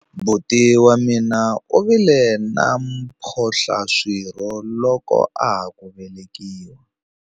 Buti wa mina u vile na mphohlaswirho loko a ha ku velekiwa.